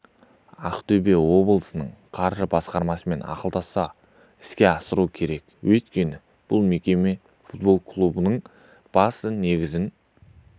ақтөбе облысының қаржы басқармасымен ақылдаса іске асырылу керек өйткені бұл мекеме футбол клубының басты негізін